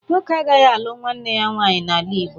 Nwoke agaghị alụ nwanne ya nwaanyi n'ala Igbo